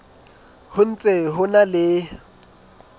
ho ntse ho na le